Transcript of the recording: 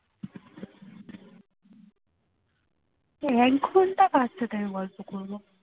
এই এক ঘন্টা কার সাথে আমি গল্প করবো